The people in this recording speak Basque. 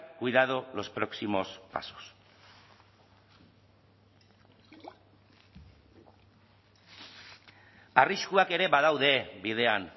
cuidado los próximos pasos arriskuak ere badaude bidean